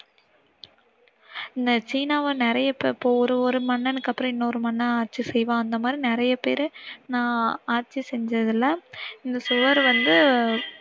சீனாவை நிறயை பேர் இப்போ ஒவ்வொரு மன்னனுக்கு அப்புறம் இன்னோரு மன்னன் ஆட்சி செய்வான் அந்த மாதிரி நிறைய பேர் நான் ஆட்சி செஞ்சதுல இந்த சுவர் வந்து